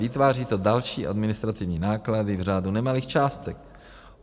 Vytváří to další administrativní náklady v řádu nemalých částek.